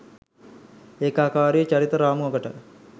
ඒකාකාරී චරිත රාමුවකට